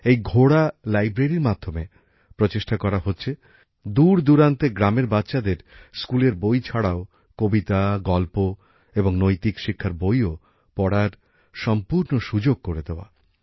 এই ঘোড়া লাইব্রেরীর মাধ্যমে চেষ্টা করা হচ্ছে দূরদূরান্তের গ্রামের বাচ্চাদের স্কুলের বই ছাড়াও কবিতা গল্প এবং নৈতিক শিক্ষার বইও পড়ার সম্পূর্ণ সুযোগ করে দেওয়া